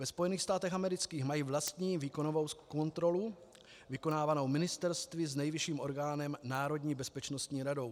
Ve Spojených státech amerických mají vlastní výkonovou kontrolu, vykonávanou ministerstvy s nejvyšším orgánem národní bezpečnostní radou.